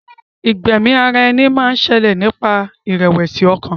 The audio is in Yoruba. Ìgbẹ́mi ara ẹni máa ń ṣẹlẹ̀ nípasẹ̀ ìrẹ̀wẹ̀sì ọkàn.